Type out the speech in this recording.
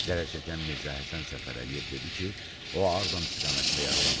Zərər çəkən Mirzəhəsən Səfərəliyev dedi ki, o Ağdam istiqamətində yaralanıb.